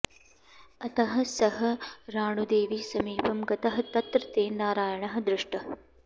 अतः सः राणूदेवीसमीपं गतः तत्र तेन नारायणः दृष्टः